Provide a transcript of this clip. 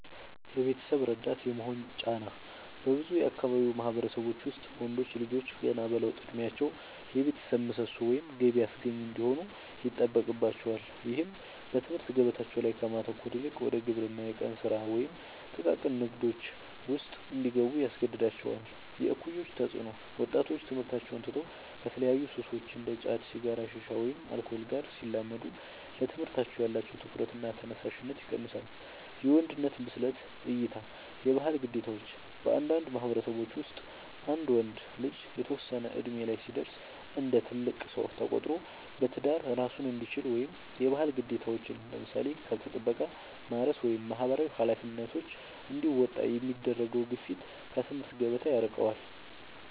የቤተሰብ ረዳት የመሆን ጫና፦ በብዙ የአካባቢው ማህበረሰቦች ውስጥ ወንዶች ልጆች ገና በለውጥ እድሜያቸው የቤተሰብ ምሰሶ ወይም ገቢ አስገኚ እንዲሆኑ ይጠበቅባቸዋል። ይህም በትምህርት ገበታቸው ላይ ከማተኮር ይልቅ ወደ ግብርና፣ የቀን ስራ ወይም ጥቃቅን ንግዶች ውስጥ እንዲገቡ ያስገድዳቸዋል። የእኩዮች ተፅዕኖ፦ ወጣቶች ትምህርታቸውን ትተው ከተለያዩ ሱሶች (እንደ ጫት፣ ሲጋራ፣ ሺሻ ወይም አልኮል) ጋር ሲላመዱ ለትምህርታቸው ያላቸው ትኩረትና ተነሳሽነት ይቀንሳል። የወንድነት ብስለት እይታ (የባህል ግዴታዎች)፦ በአንዳንድ ማህበረሰቦች ውስጥ አንድ ወንድ ልጅ የተወሰነ እድሜ ላይ ሲደርስ እንደ ትልቅ ሰው ተቆጥሮ በትዳር እራሱን እንዲችል ወይም የባህል ግዴታዎችን (ለምሳሌ ከብት ጥበቃ፣ ማረስ ወይም ማህበራዊ ኃላፊነቶች) እንዲወጣ የሚደረገው ግፊት ከትምህርት ገበታ ያርቀዋል።